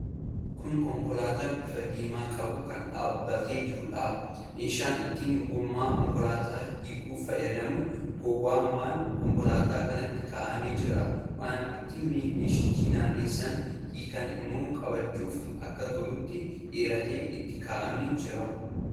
Kun konkolaataa bifa diimaa qabdu kan dhaabbattee jirtuudha. Meeshaan ittiin gommaa konkolaataa hiikuuf fayyadu gowwaa konkolaataa kanaatti kaa'amee jira. Waan ittiin meeshicha naannessanii hiikan immoo qabachuuf akka tolutti dheeratee itti kaa'amee jira.